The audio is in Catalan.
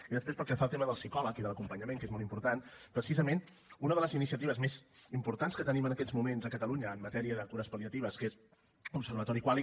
i després pel que fa al tema del psicòleg i de l’acompanyament que és molt important precisament una de les iniciatives més importants que tenim en aquests moments a catalunya en matèria de cures pal·liatives que és l’observatori qualy